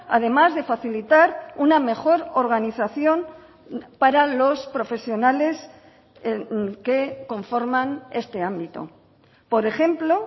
además de facilitar una mejor organización para los profesionales que conforman este ámbito por ejemplo